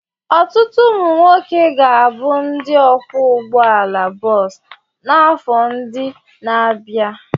Ọtụtụ ụmụ nwoke ga-abụ ndị ọkwọ ụgbọala bọọsụ n'afọ ndị na-abịa.